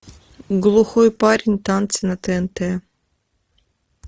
глухой парень танцы на тнт